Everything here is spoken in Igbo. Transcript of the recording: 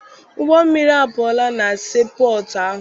Ụgbọmmiri apụọla na sii pọtụ ahụ.